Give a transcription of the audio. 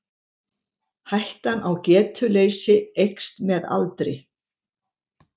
Hættan á getuleysi eykst með aldri.